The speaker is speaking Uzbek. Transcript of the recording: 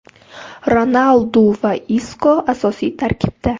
Ronaldu va Isko asosiy tarkibda.